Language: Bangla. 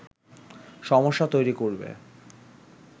সমস্যা তৈরি করবে